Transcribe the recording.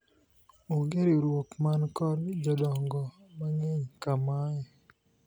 onge riwruok man kod jodongo mang'eny ka mae